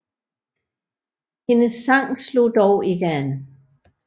Hendes sang slog dog ikke an